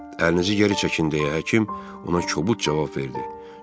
Əlinizi geri çəkin deyə həkim ona kobud cavab verdi.